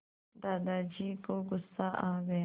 दादाजी को गुस्सा आ गया